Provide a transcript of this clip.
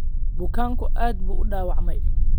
Bukaanku aad buu u dhaawacmay